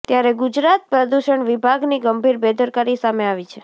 ત્યારે ગુજરાત પ્રદૂષણ વિભાગની ગંભીર બેદરકારી સામે આવી છે